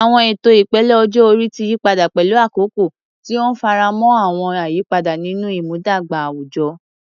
Àwọn ètò ìpele ọjọ́ orí ti yí padà pẹ̀lú àkókò, tí ó ń faramọ́ àwọn àyípadà nínú ìmúdàgba àwùjọ.